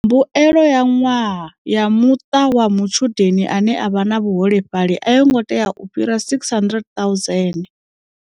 Mbuelo ya ṅwaha ya muṱa wa mutshudeni ane a vha na vhuholefhali a yo ngo tea u fhira R600 000.